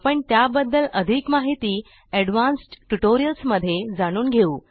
आपण त्याबद्दल अधिक माहिती एडवान्स्ड ट्युटोरियल्स मध्ये जाणून घेऊ